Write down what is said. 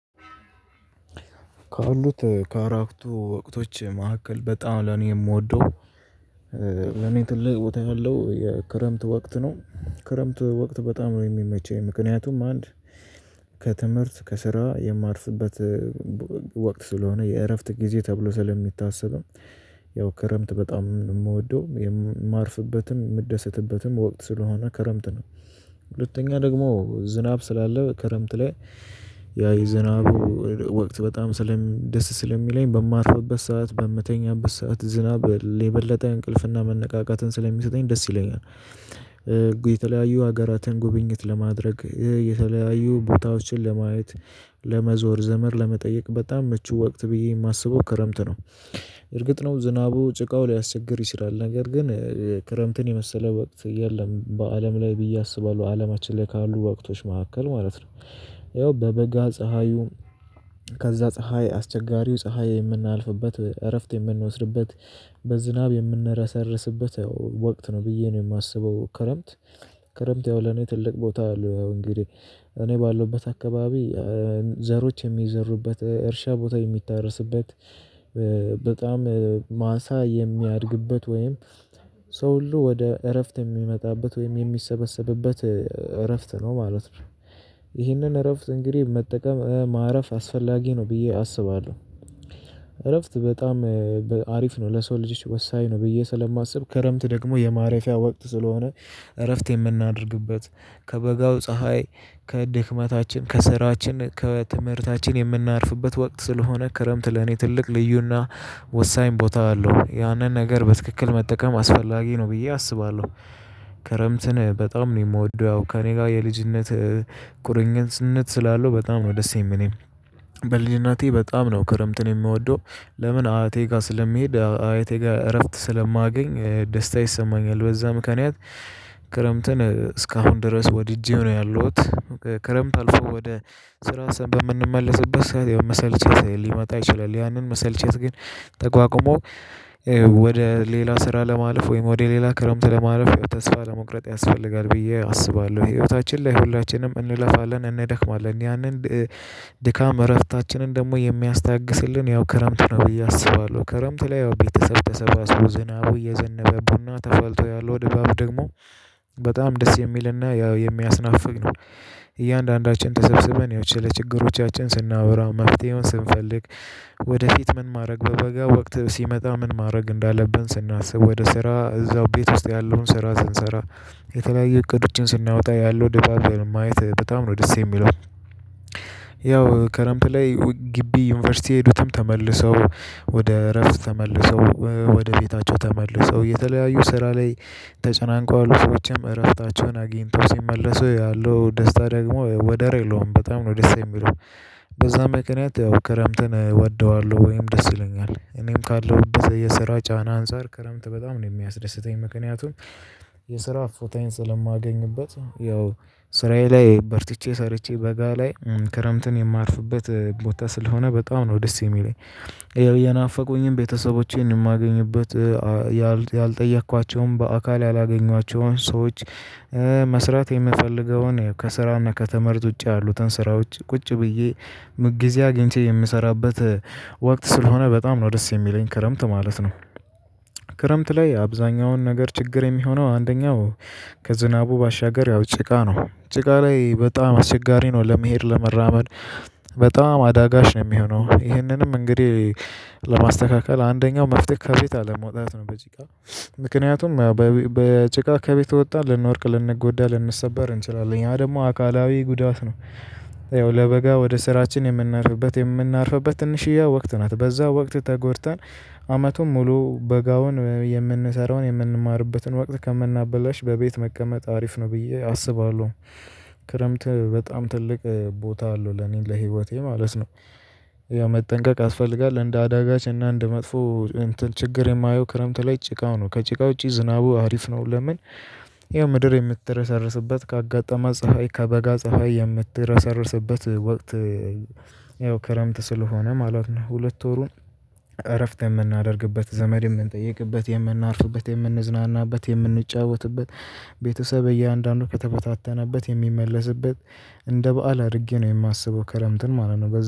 ከአረቱ ወቅቶች መካከል በጣም ለኔ የምወደው ለኔ ትልቅ ቦታ ያለው የክረምት ወቅት ነው። ክረምት ወቅት በጣም ነው የሚመቸኝ ምክንያቱም አንድ ከትምህርት ከስራ የማርፍበት ወቅት ስለሆነ የእረፍት ጊዜ ተብሎ ስለሚታሰብም ያው ከረምት በጣም የምወደው የማርፍበትም የምደሰትበትም ወቅት ስለሆነ ከረምት ነው። ሁለተኛ ደግሞ ዝናብ ስላለ ከረምት ላይ ያ የዝናቡ ወቅት በጣም ደስ ስለሚለኝ በማርፍበት ሰዓት በምተኛበት ሰዓት ዝናብ የበለጠ እንቅልፍና መነቃቃትን ስለሚሰጠኝ ደስ ይለኛል። የተለያዩ ሀገራትን ጉብኝት ለማድረግ የተለያዩ ቦታዎችን ለማየት ለመዞር ዘመድ ለመጠየቅ በጣም ምቹ ወቅት ብዬ የማስበው ክረምት ነው። እርግጥ ነው ዝናቡ ጭቃው ሊያስቸግር ይስራል ነገር ግን ክረምትን የመሰለ ወቅት የለም በአለም ላይ ብዬ አስባለሁ። አለማችን ላይ ካሉ ወቅቶች መካከል ማለት ነው። ያው በበጋ ፀሀዩ ከዛ ፀሀይ አስቸጋሪው ፀሀይ የምናልፍበት እረፍት የምንወስድበት በዝናብ የምንረሰርስበት ወቅት ነው ብዬ ነው የማስበው ክረምት። ክረምት ያው ለኔ ትልቅ ቦታ አለው እንግዲህ እኔ ባለሁበት አካባቢ ዘሮች የሚዘሩበት እርሻ ቦታ የሚታረስበት በጣም ማሳ የሚያድግበት ወይም ሰው ሁሉ ወደ እረፍት የሚመጣበት ወይም የሚሰበሰብበት እረፍት ነው ማለት ነው። ይህንን እረፍት እንግዲህ መጠቀም ማረፍ አስፈላጊ ነው ብዬ አስባለሁ። እረፍት በጣም አሪፍ ነው ለሰው ልጆች ወሳኝ ነው ብዬ ስለማስብ ከረምት ደግሞ የማረፊያ ወቅት ስለሆነ እረፍት የምናደርግበት ከበጋው ፀሀይ ከድክመታችን ከስራችን ከትምህርታችን የምናርፍበት ወቅት ስለሆነ ክረምት ለኔ ትልቅ ልዩና ወሳኝ ቦታ አለው ያንን ነገር በትክክል መጠቀም አስፈላጊ ነው ብዬ አስባለሁ። ክረምትን በጣም ነው የምወደው ያው ከእኔ ጋር የልጅነት ቁርኝነት ስላለው በጣም ነው ደስ የምልኝ። በልጅነቴ በጣም ነው ክረምትን የምወደው። ለምን አያቴ ጋር ስለሚሄድ አያቴ ጋር እረፍት ስለማገኝ ደስታ ይሰማኛል በዛ ምክንያት። ክረምትን እስካሁን ድረስ ወድጄው ነው ያለው። ክረምት አልፎ ወደ ስራ ሰንበት የምንመለስበት መሰልቸት ሊመጣ ይችላል ያንን መሰልቸት ግን ተቋቁሞ ወደ ሌላ ስራ ለማለፍ ወይም ወደ ሌላ ክረምት ለማለፍ ተስፋ አለመቁረጥ ያስፈልጋል ብዬ አስባለሁ። ህይወታችን ላይ ሁላችንም እንለፋለን እንደክማለን ያንን ድካም እረፍታችንን ደግሞ የሚያስታግስልን ያው ክረምት ነው ብዬ አስባለሁ። ክረምት ላይ ያው ቤተሰብ ተሰባስበው ዝናቡ እየዘነበ ቡና ተፋልቶ ያለው ድባብ ደግሞ በጣም ደስ የሚልና ያው የሚያስናፍቅ ነው። እያንዳንዳችን ተሰብስበን ያው ለችግሮቻችን ስናብራ መፍትሄውን ስንፈልግ ወደፊት ምን ማድረግ በበጋ ወቅት ሲመጣ ምን ማድረግ እንዳለብን ስናስብ ወደ ስራ እዛው ቤት ውስጥ ያለውን ስራ ስንሰራ የተለያየ እቅዶችን ስናወጣ ያለው ዲባብን ማየት በጣም ነው ደስ የሚለው። ያው ከረምት ላይ ግቢ ዩኒቨርሲቲ የሄዱትም ተመልሰው ወደ እረፍት ተመልሰው ወደ ቤታቸው ተመልሰው የተለያዩ ስራ ላይ ተጨናንቆ ያሉ ሰዎችም እረፍታቸውን አግኝተው ሲመለሱ ያለው ደስታ ደግሞ ወደ ሬሎም በጣም ነው ደስ የሚለው። በዛ ምኪኛት ያው ክረምትን እወደዋለሁ ወይም ደስ ይለኛል እኔም ካለው የሰራ ጫና አንፃር ክረምት በጣም ነው የሚያስደስተኝ ምክንያቱም። የስራ እፎታዬን ስለማገኝበት ያው ስራዬ ላይ በርትቼ ሰርቼ በጋ ላይ ክረምትን የማርፍበት ቦታ ስለሆነ በጣም ነው ደስ የሚለኝ የናፈቁኝም ቤተሰቦቼን የማገኝበት ያልጠየኳቸውም በአካል ያላገኟቸውን ሰዎች መስራት የምፈልገውን ከስራና ከተመህርት ውጪ ያሉትን ስራዎች ቁጭ ብዬ ግዜ አግኝቼ የምሰራበት ወቅት ስለሆነ በጣም ነው ደስ የሚለኝ ክረምት ማለት ነው። ክረምት ላይ አብዛኛውን ነገር ችግር የሚሆነው አንደኛው ከዝናቡ ባሻገር ያው ጭቃ ነው ጭቃ ላይ በጣም አስቸጋሪ ነው ለመሄድ ለመራመድ በጣም አዳጋች ነው የሚሆነው ይህንንም እንግዲህ ለማስተካከል አንደኛው መፍትሄ ከቤት አለመውጣት ነው በጭቃ ምክንያቱም ያው በጭቃ ከቤት ከወጣን ልንወድቅ ልንጎዳ ልንሰበር እንችላለን ያ ደግሞ አካላዊ ጉዳት ነው። ያው ለበጋ ወደ ስራችን የምናርፍበት የምናርፍበት ትንሽዬ ወቅት ናት በዛ ወቅት ተጎድተን አመቱን ሙሉ በጋውን የምንሰራውን የምንማርበትን ወቅት ከምናበላሽ በቤት መቀመጥ አሪፍ ነው ብዬ አስባለሁ። ክረምት በጣም ትልቅ ቦታ አለው ለኔን ለህይወቴ ማለት ነው መጠንቀቅ ያስፈልጋል እንደ አዳጋች እና እንደ መጥፎ እንትን ችግር የማየው ክረምት ላይ ጭቃው ነው ከጭቃው ውጪ ዝናቡ አሪፍ ነው ለምን? ይሄ ምድር የምትረሳረስበት ካጋጠማት ፀሀይ ከበጋ ፀሀይ የምትረሳረስበት ወቅት ያው ክረምት ስለሆነ ማለት ነው። ሁለት ወሩን እረፍት የምናደርግበት ዘመድ የምንጠይቅበት የምናርፍበት የምንዝናናበት የምንጫወትበት ቤተሰብ እያንዳንዱ ከተበታተነበት የሚመለስበት እንደ በዓል አድርጌ ነው የማስበው ከለምትን ማለት ነው